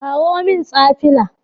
Kawo min stafila!